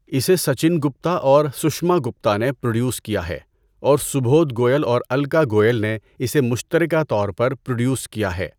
اسے سچن گپتا اور سشما گپتا نے پروڈیوس کیا ہے اور سبودھ گوئل اور الکا گوئل نے اسے مشترکہ طور پر پروڈیوس کیا ہے۔